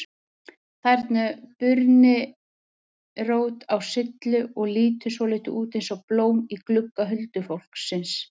Þarna er burnirót á syllu og lítur svolítið út eins og blóm í glugga huldufólksins.